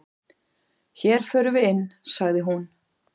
"""Hér förum við inn, sagði hún."""